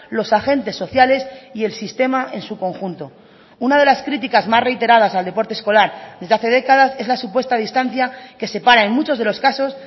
los agentes sociales y el sistema en su conjunto una de las críticas más reiteradas al deporte escolar desde hace décadas es la supuesta distancia que separa en muchos de los casos